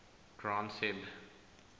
granth hib